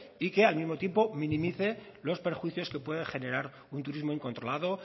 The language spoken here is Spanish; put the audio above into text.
y que al mismo tiempo minimice los perjuicios que puede generar un turismo incontrolado